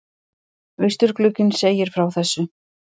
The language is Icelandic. Austurglugginn segir frá þessu